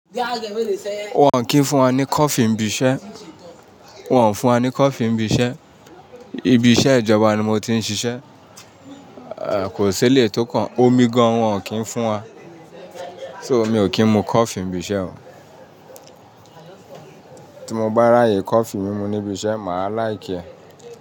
Wọn kì ń fún wa ní coffee n'bi iṣẹ́. Wọn ò n fún wa ní coffee ni ibi iṣẹ́. Ibi iṣẹ́ ìjọba ni mo ti ń ṣiṣẹ́. Kò sí eléyii tó kàn Omi gan wọn ò kí ń fún wa. So, mi ò kí ń mu coffee nibi iṣẹ́ o. Tí mo bá ráyè coffee mímu ní ibi iṣẹ́, màá láìkẹ́ ẹ.